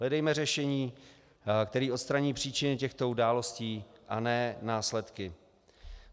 Hledejme řešení, které odstraní příčinu těchto událostí, a ne následky.